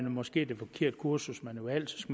måske det forkerte kursus man har valgt